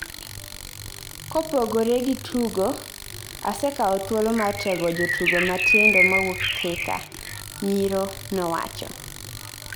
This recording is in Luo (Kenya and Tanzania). Kopogore gi tugo, asekao thuolo mar tego jotugo matindo mawuok Thika, Nyiro nowacho